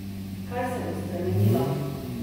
Kaj se bo spremenilo?